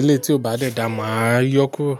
ilé tí ó bá dẹ̀ da máa yọ kùro.